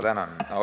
Tänan!